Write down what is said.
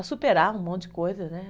A superar um monte de coisa, né?